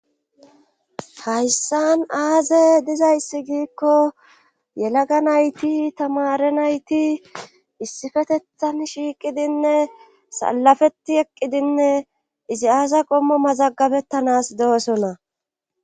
Hayssan aaze dizayssi giikko yelaga nayti tamare nayti issifetethan shiiqidinne salafeti eqqidinne izi aasa qommo mazagabettanas do7osona